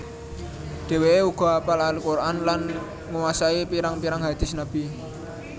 Dheweke uga apal Al Quran lan nguwasai pirang pirang hadis Nabi